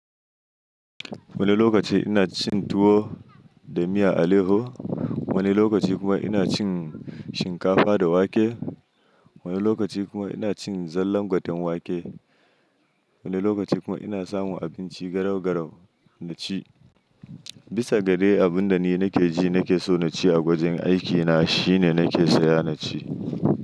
Wani lokaci ina cin tuwo da miya aleho, wani lokaci kuma ina cin shinkafa da wake. Wani lokaci kuma ina cin zallan gwaten wake, wani lokaci kuma ina samun abinci garau-garau na ci. Bisa ga dai abin da ni na ke ji na ke so na ci a gwajin aikina shine na ke saya na ci.